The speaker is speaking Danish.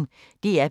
DR P1